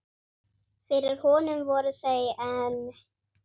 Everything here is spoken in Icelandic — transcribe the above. Fyrir honum voru þau enn